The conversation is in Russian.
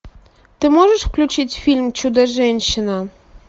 ты можешь включить фильм чудо женщина